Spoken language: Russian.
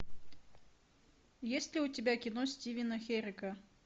есть ли у тебя кино стивена херека